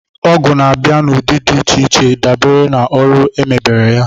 Ọgụ na-abịa n'ụdị dị iche iche dabere na ọrụ e mebére ya